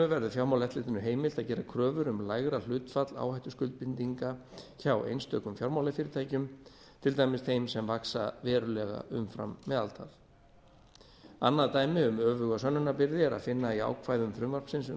verður fjármálaeftirlitinu heimilt að gera kröfur um lægra hlutfall áhættuskuldbindinga hjá einstökum fjármálafyrirtækjum til dæmis þeim sem vaxa verulega umfram meðaltal annað dæmi um öfuga sönnunarbyrði er að finna á ákvæðum frumvarpsins um